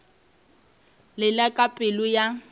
le la ka pelo ya